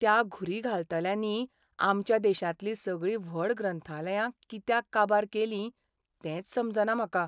त्या घुरी घालतल्यांनी आमच्या देशांतलीं सगळीं व्हड ग्रंथालयां कित्याक काबार केलीं तेंच समजना म्हाका.